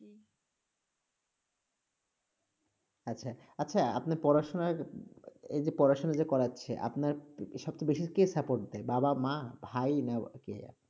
আচ্ছা, আচ্ছা আপনার পড়াশোনার, এই যে পড়াশোনা যে করাচ্ছে, আপনার সবচেয়ে বেশি কে support দেয়? বাবা, মা, ভাই না ব- কে আর কি?